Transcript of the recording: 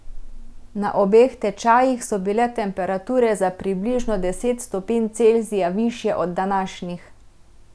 Na obeh tečajih so bile temperature za približno deset stopinj Celzija višje od današnjih.